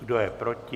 Kdo je proti?